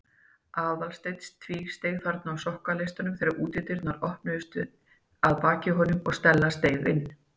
Aðalsteinn tvísteig þarna á sokkaleistunum þegar útidyrnar opnuðust að baki honum og Stella steig inn.